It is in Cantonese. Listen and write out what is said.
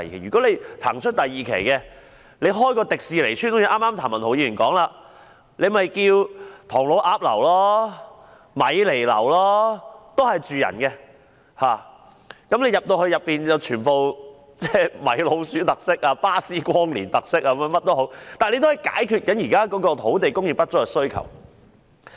如果騰出第二期的用地，建一條迪士尼村，正如譚文豪議員剛才說，可以命名為唐老鴨樓、米妮樓，供人居住，而內部具米奇老鼠特色、巴斯光年特色等，也可以解決現時土地供應的需求。